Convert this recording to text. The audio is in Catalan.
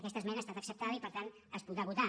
aquesta esmena ha estat acceptada i per tant es podrà votar